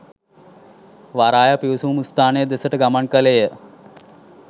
වරාය පිවිසුම් ස්ථානය දෙසට ගමන් කළේය